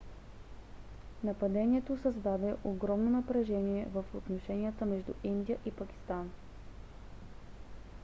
нападението създаде огромно напрежение в отношенията между индия и пакистан